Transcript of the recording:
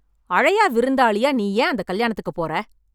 அழையா விருந்தாளியா நீ ஏன் அந்த கல்யாணத்துக்குப் போற